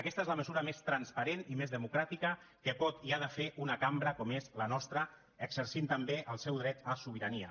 aquesta és la mesura més transparent i més democràtica que pot i ha de fer una cambra com és la nostra exercint també el seu dret a sobirania